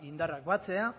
indarrak batzea